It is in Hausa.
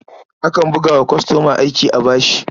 Akan buga wa kwastoma aiki a bashi.